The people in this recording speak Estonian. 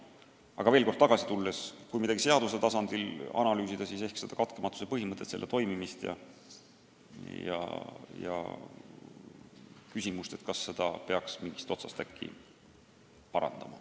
Aga veel kord tagasi tulles: kui midagi seadusandja tasandil analüüsida, siis ehk katkematuse põhimõtte toimimist ja küsimust, kas peaks seda äkki mingist otsast parandama.